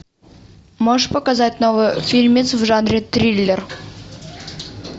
можешь показать новый фильмец в жанре триллер